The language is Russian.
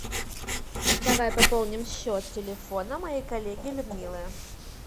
давай пополним счет телефона моей коллеги людмилы